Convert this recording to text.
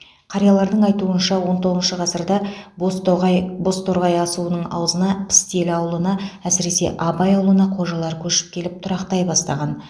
қариялардың айтуынша он тоғызыншы ғасырда бозтоғай бозторғай асуының аузына пістелі ауылына әсіресе абай ауылына қожалар көшіп келіп тұрақтай бастаған